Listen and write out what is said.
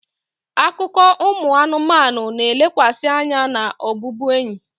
Akụkọ ụmụ anụmanụ na-elekwasị anya na ọbụbụenyi.